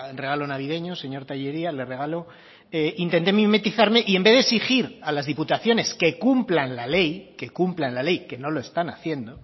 regalo navideño señor tellería le regalo intenté mimetizarme y en vez de exigir a las diputaciones que cumplan la ley que cumplan la ley que no lo están haciendo